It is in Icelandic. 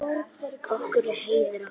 Okkur er heiður af því.